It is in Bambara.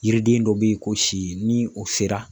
Yiriden dɔ be yen ko si ni o sera